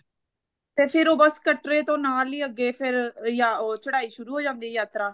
ਤੇ ਫਿਰ ਉਹ ਬੱਸ ਕਟਰੇ ਤੋਂ ਨਾਲ ਹੀ ਅੱਗੇ ਫੇਰ ਜਾਂ ਉਹ ਚੜ੍ਹਾਈ ਸ਼ੁਰੂ ਹੋ ਜਾਂਦੀ ਐ ਯਾਤਰਾ